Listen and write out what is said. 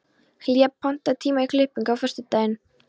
Hlér, pantaðu tíma í klippingu á föstudaginn.